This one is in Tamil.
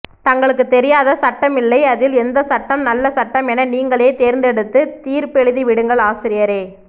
தங்களுக்கு தெரியாத சட்டமில்லை அதில் எந்த சட்டம் நல்ல சட்டம் என நீங்களே தேர்ந்தெடுத்து தீர்பெழுதிவிடுங்கள் ஆசிரியரே